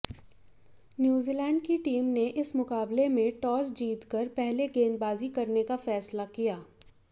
New Zealand की team ने इस मुकाबले में टॉस जीतकर पहले गेंदबाजी करने का फैसला किया